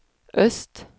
øst